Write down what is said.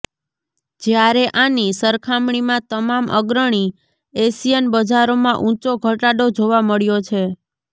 જ્યારે આની સરખામણીમાં તમામ અગ્રણી એશિયન બજારોમાં ઊંચો ઘટાડો જોવા મળ્યો છે